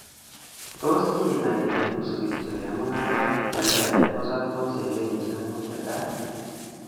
Tos kiinai ile nusu kityok en mung'arok che lelach, kosoptos en kenyisiek mut che tai?